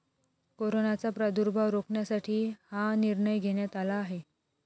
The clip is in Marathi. कोरोनाचा प्रादुर्भाव रोखण्यासाठी हा निर्णय घेण्यात आला आहे.